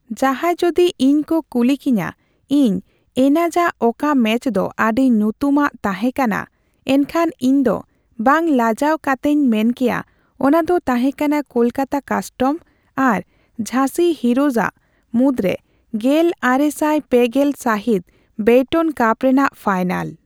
ᱡᱟᱸᱦᱟᱭ ᱡᱩᱫᱤ ᱤᱧ ᱠᱚ ᱠᱩᱞᱤ ᱠᱤᱧᱟᱹ ᱤᱧ ᱮᱱᱟᱡᱟᱜ ᱚᱠᱟ ᱢᱮᱪ ᱫᱚ ᱟᱹᱰᱤ ᱧᱩᱛᱩᱢᱟᱜ ᱛᱟᱸᱦᱮ ᱠᱟᱱᱟ, ᱮᱱᱠᱷᱟᱱ ᱤᱧ ᱫᱚ ᱵᱟᱝ ᱞᱟᱡᱟᱣ ᱠᱟᱛᱮᱧ ᱢᱮᱱ ᱠᱮᱭᱟ, ᱚᱱᱟ ᱫᱚ ᱛᱟᱸᱦᱮ ᱠᱟᱱᱟ ᱠᱚᱞᱠᱟᱛᱟ ᱠᱟᱥᱴᱚᱢᱥ ᱟᱨ ᱡᱷᱟᱹᱥᱤ ᱦᱤᱨᱳᱡ ᱟᱜ ᱢᱩᱫ ᱨᱮ ᱜᱮᱞᱟᱨᱮᱥᱟᱭ ᱯᱮᱜᱮᱞᱯᱮ ᱥᱟᱹᱦᱤᱛ ᱵᱮᱭᱴᱚᱱ ᱠᱟᱯ ᱨᱮᱱᱟᱜ ᱯᱷᱟᱭᱱᱟᱞ ᱾